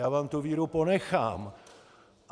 Já vám tu víru ponechám.